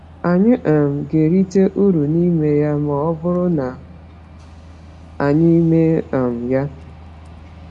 Anyị um ga-erite uru n’ime ya ma ọ bụrụ na anyị mee um ya.